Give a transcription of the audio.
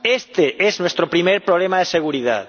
Este es nuestro primer problema de seguridad.